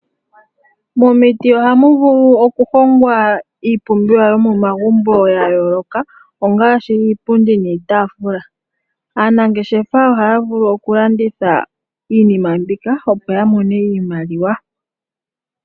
Momiti ohamu vulu okuhongwa iipumbiwa yomomagumbo yayooloka ongaashi iipundi niitafula. Aanangeshefa ohaya vulu okulanditha iinima mbika opo yamone iimaliwa.